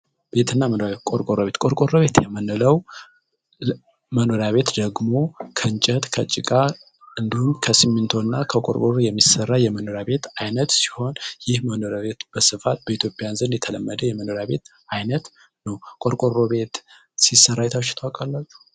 ቤትና መኖሪያ ቤት የምንለው ቆርቆሮ ቤት የምንለው ደግሞ ከእንጨት ከጭቃ ከሲሚንቶ እና ከቆርቆሮ የሚሰራ የመኖሪያ ቤት ሲሆን ይህ የመኖሪያ ቤት በስፋት በኢትዮጵያ የተለመደ የመኖሪያ ቤት አይነት ነው ቆርቆሮ ቤት ሲሰራ አይታችሁ ታውቃላችሁ?